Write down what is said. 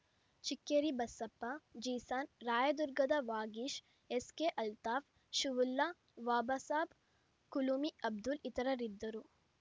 ಚಿಕ್ಕೇರಿ ಬಸಪ್ಪ ಜೀಸಾನ್‌ ರಾಯದುರ್ಗದ ವಾಗೀಶ್‌ ಎಸ್‌ಕೆ ಅಲ್ತಾಫ್‌ ಶುವುಲ್ಲಾ ವಾಬಸಾಬ್‌ ಕುಲುಮಿ ಅಬ್ದುಲ್‌ ಇತರರಿದ್ದರು